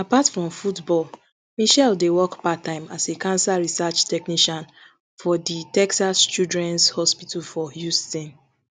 apart from football michelle dey work parttime as a cancer research technician for di texas childrens hospital for houston